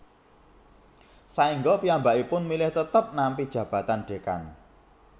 Saengga piyambakipun milih tetep nampi jabatan Dekan